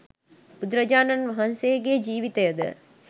බුදුරජාණන් වහන්සේගේ ජීවිතය ද